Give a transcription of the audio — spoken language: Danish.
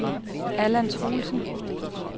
Allan Truelsen